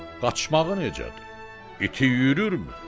Qaçmağı necədir, iti yüyürmü?